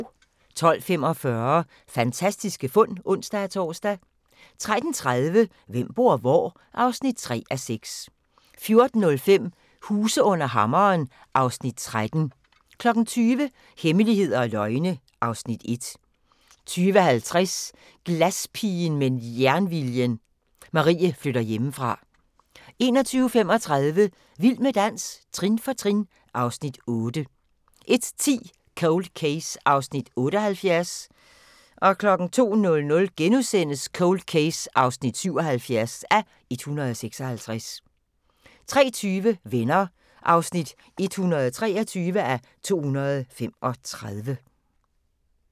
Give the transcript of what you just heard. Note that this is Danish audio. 12:45: Fantastiske fund (ons-tor) 13:30: Hvem bor hvor? (3:6) 14:05: Huse under hammeren (Afs. 13) 20:00: Hemmeligheder og løgne (Afs. 1) 20:50: Glaspigen med jernviljen – Marie flytter hjemmefra 21:35: Vild med dans – trin for trin (Afs. 8) 01:10: Cold Case (78:156) 02:00: Cold Case (77:156)* 03:20: Venner (123:235)